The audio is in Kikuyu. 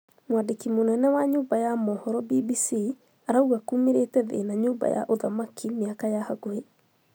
Mwandĩki mûnene wa nyũmba ya mũhoro BBC arauga kumerĩte thĩna nyumba ya ũthamaki miaka ya bakubĩ